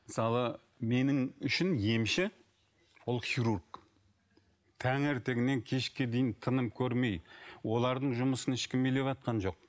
мысалы менің үшін емші ол хирург таңертеңнен кешке дейін тыным көрмей олардың жұмысын ешкім елеватқан жоқ